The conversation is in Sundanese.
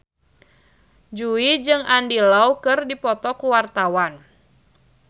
Jui jeung Andy Lau keur dipoto ku wartawan